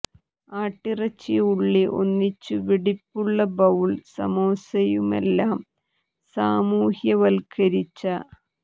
ആട്ടിറച്ചി ഉള്ളി ഒന്നിച്ചു വെടിപ്പുള്ള ബൌൾ സമോസയുമെല്ലാം ൽ സാമൂഹ്യവൽക്കരിച്ച